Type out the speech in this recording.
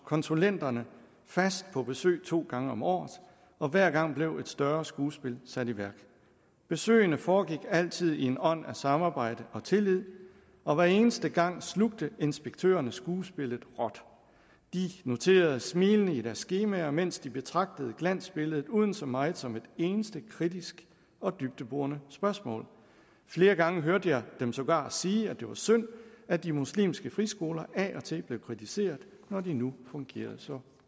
konsulenterne fast på besøg to gange om året og hver gang blev et større skuespil sat i værk besøgene foregik altid i en ånd af samarbejde og tillid og hver eneste gang slugte inspektørerne skuespillet råt de noterede smilende i deres skemaer mens de betragtede glansbilledet uden så meget som et eneste kritisk og dybdeborende spørgsmål flere gange hørte jeg dem sågar sige at det var synd at de muslimske friskoler af og til blev kritiseret når de nu fungerede så